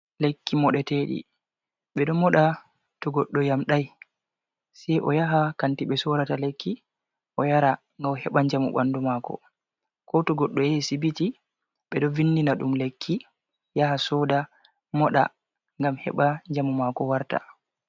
Lekki moɗeteki ɓeɗo moɗa to goddo yamdai sei o yaha kanti ɓe sorata lekki, o yara ngam o heɓa njamu ɓandu mako, ko to goɗɗo yahi sibiti ɓe ɗo vindina ɗum lekki yaha soda moɗa ngam heɓa njamu mako warta.